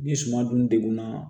Ni suman dun degunna